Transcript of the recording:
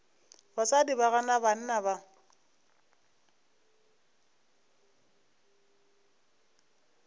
basadi ba gana banna ba